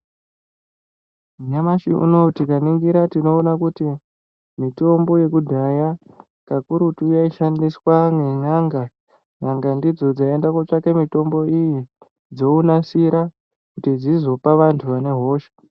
Nyamashi unou tikaningira tinoona kuti mitombo yekudhaya kakurutu yaishandiswa nen'anga. N'anga ndidzo dzaienda kotsvake mitombo iyi dzounasira kuti dzizopa vantu vane hosha.